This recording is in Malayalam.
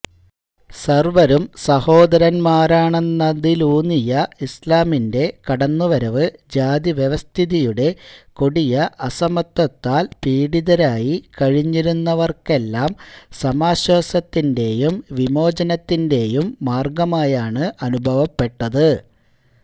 സര്വരും സഹോദരന്മാരാണെന്നതിലൂന്നിയ ഇസ്ലാമിന്റെ കടന്നുവരവ് ജാതിവ്യവസ്ഥിതിയുടെ കൊടിയ അസമത്വത്താല് പീഡിതരായി കഴിഞ്ഞിരുന്നവര്ക്കെല്ലാം സമാശ്വാസത്തിന്റെയും വിമോചനത്തിന്റെയും മാര്ഗമായാണ് അനുഭവപ്പെട്ടത്